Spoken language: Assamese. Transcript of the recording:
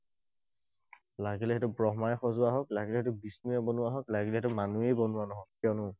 লাগিলে সেইটো ব্ৰহ্মাই সজোৱা হওঁক, লাগিলে সেইটো বিষ্ণুয়ে বনোৱা হওঁক, লাগিলে সেইটো মানুহেই বনোৱা নহওঁক, কিয়নো